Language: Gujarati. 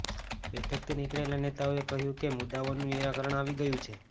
બેઠકથી નીકળેલા નેતાઓએ કહ્યું કે મુદ્દાઓનું નિરાકરણ આવી ગયું છે